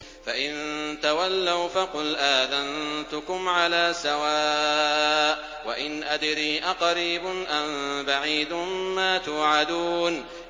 فَإِن تَوَلَّوْا فَقُلْ آذَنتُكُمْ عَلَىٰ سَوَاءٍ ۖ وَإِنْ أَدْرِي أَقَرِيبٌ أَم بَعِيدٌ مَّا تُوعَدُونَ